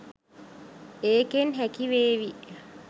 ඒකෙන් හැකිවේවි